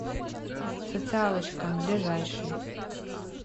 социалочка ближайший